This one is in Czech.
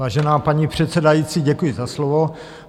Vážená paní předsedající, děkuji za slovo.